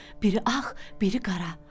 Biri ağ, biri qara.